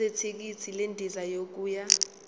zethikithi lendiza yokuya